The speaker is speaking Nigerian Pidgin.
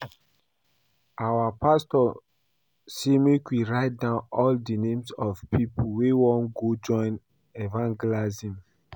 Our pastor say make we write down all the names of people wey wan go join evangelism